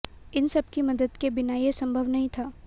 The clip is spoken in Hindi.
इन सबकी मदद के बिना ये संभव नहीं था